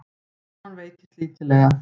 Krónan veiktist lítillega